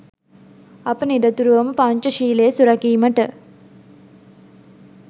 අප නිරතුරුවම පංචශීලය සුරැකීමට